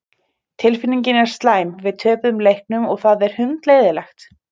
Tilfinningin er slæm, við töpuðum leiknum og það er hundleiðinlegt.